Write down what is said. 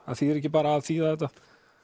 þýðir ekki bara að þýða þetta